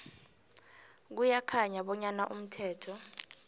kuyakhanya bonyana umthetho